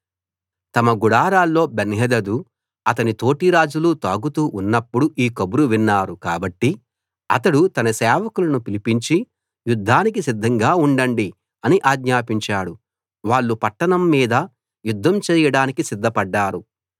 తమ గుడారాల్లో బెన్హదదు అతని తోటి రాజులు తాగుతూ ఉన్నప్పుడు ఈ కబురు విన్నారు కాబట్టి అతడు తన సేవకులను పిలిపించి యుద్ధానికి సిద్ధంగా ఉండండి అని ఆజ్ఞాపించాడు వాళ్ళు పట్టణం మీద యుద్ధం చేయడానికి సిద్ధపడ్డారు